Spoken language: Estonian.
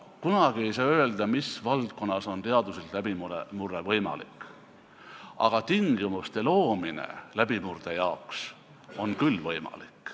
Kunagi ei saa öelda, mis valdkonnas on teaduslik läbimurre võimalik, aga tingimuste loomine läbimurde jaoks on küll võimalik.